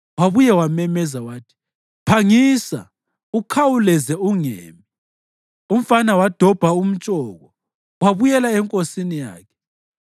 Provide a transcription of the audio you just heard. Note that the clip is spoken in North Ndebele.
Wabuye wamemeza wathi, “Phangisa! Ukhawuleze! Ungemi!” Umfana wadobha umtshoko wabuyela enkosini yakhe.